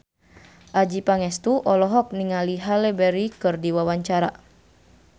Adjie Pangestu olohok ningali Halle Berry keur diwawancara